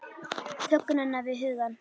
Þögnina við hugann.